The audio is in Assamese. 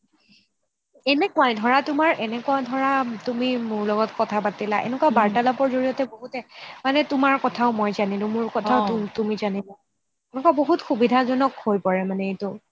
ধৰা তোমাৰ এনেকুৱা ধৰা তুমি মোৰ লগত এনেকুৱা বাৰ্তালাপৰ জৰিয়তে বহুতে মানে তোমাৰ কথা মই জনিলো মোৰ কথা তুমি জানিলা এনেকুৱা বহুত সুবিধাজনক হৈ পৰে এইটো